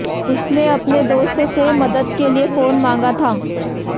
उसने अपने दोस्त से मदद के लिए फोन मांगा था